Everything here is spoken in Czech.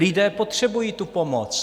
Lidé potřebují tu pomoc.